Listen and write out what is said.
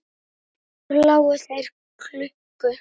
Sumar nætur lágu þeir klukku